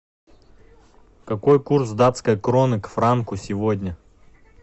какой курс датской кроны к франку сегодня